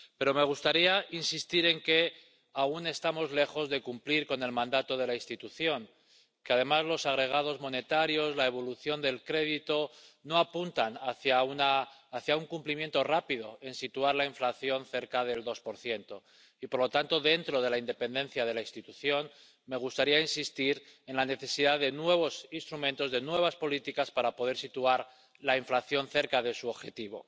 Pero me gustaría insistir en que aún estamos lejos de cumplir con el mandato de la institución —que, además, los agregados monetarios, la evolución del crédito, no apuntan hacia el cumplimiento rápido del objetivo de situar la inflación cerca del 2 y, por lo tanto, dentro de la independencia de la institución, me gustaría insistir en la necesidad de nuevos instrumentos, de nuevas políticas, para poder situar la inflación cerca de su objetivo.